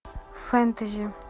фэнтези